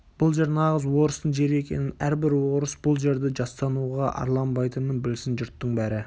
бұл жер нағыз орыстың жері екенін әрбір орыс бұл жерді жастануға арланбайтынын білсін жұрттың бәрі